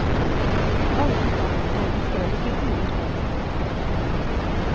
All utdanning er likevel ikke god utdanning. punktum